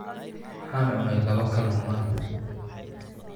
Waxaan cunay laba kalluun maanta.